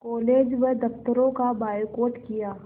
college व दफ़्तरों का बायकॉट किया